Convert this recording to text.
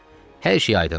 Hər şey aydındır.